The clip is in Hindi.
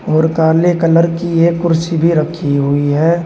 और काले कलर की ये कुर्सी भी रखी हुई है।